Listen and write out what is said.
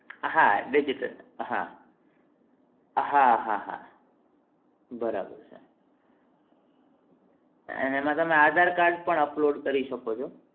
હા digital હા હા હા બરાબર છે એમાં તમે aadhar card પણ upload કરી શકો છો